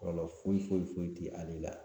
Kɔlɔlɔ foyi foyi foyi tɛ ale la